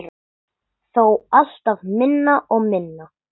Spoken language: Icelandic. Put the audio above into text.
Þó alltaf minna og minna.